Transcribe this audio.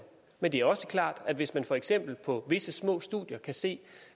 men det er også klart at hvis man for eksempel på visse små studier kan se